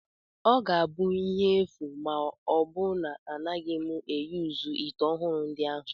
Ọ ga-abụ ihe efu ma ọ bụrụ na anaghị m eyuzu ite ọhụrụ ndị ahụ